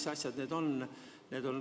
Mis asjad need siis on?